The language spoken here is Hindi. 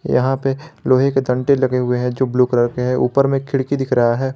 यहां पे लोहे के डंडे लगे हुए है जो ब्लू कलर के है ऊपर में खिड़की दिख रहा है।